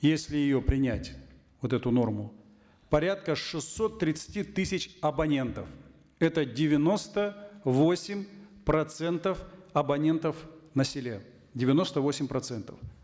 если ее принять вот эту норму порядка шестисот тридцати тысяч абонентов это девяносто восемь процентов абонентов на селе девяносто восемь процентов